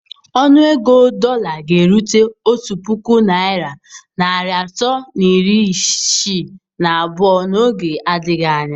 Ọnụ ego dọla ga-erute otu puku naira narị atọ na iri isii na abụọ n'oge adịghị anya.